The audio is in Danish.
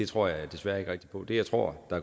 tror jeg desværre ikke rigtig på det jeg tror